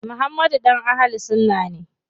Muhammad ɗan Ahlul sunna ne.